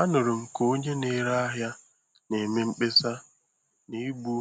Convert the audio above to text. Anụrụ m ka onye na-ere ahịa na-eme mkpesa na igbu